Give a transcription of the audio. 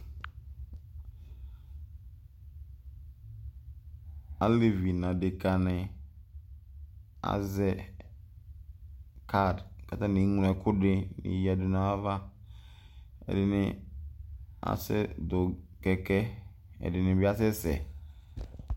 Alevi n'adeka ni azɛ card k'atani eŋlo ɛkʋɛdini yǝdʋ n'ayava, ɛdini asɛ dʋ kɛkɛ, ɛdini bi asɛsɛ